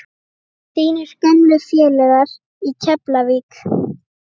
Þínir gömlu félagar í Keflavík?